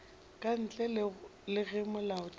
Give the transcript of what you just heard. ka ntle le ge molaotheo